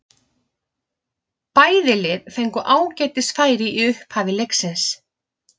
Bæði lið fengu ágætis færi í upphafi leiksins.